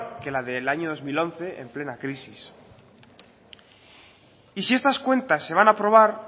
que la del año dos mil once en plena crisis y si estas cuentas se van a aprobar